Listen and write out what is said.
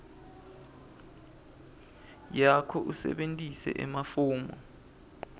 yakho usebentise emafomu